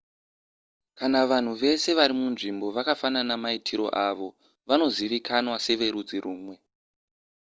kana vanhu vese vari munzvimbo vakafanana mumaitiro avo vanozivikanwa severudzi rumwe